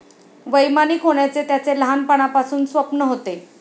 वैमानिक होण्याचे त्याचे लहानपणापासून स्वप्न होते.